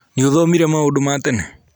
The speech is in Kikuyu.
Nĩũthomire maũndũ ma tene?